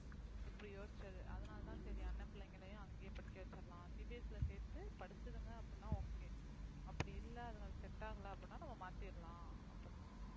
இப்படி யோசிச்சது அதனால தான் சரி அண்ணன் பிள்ளைங்களையும் அங்கேயே படிக்க வச்சிரலாம் CBSE ல சேர்த்து படிச்சதுங்க அப்படின்னா okay அப்படி இல்ல அதுங்களுக்கு set ஆகல அப்படின்னா நம்ம மாத்திரலாம் அப்ப~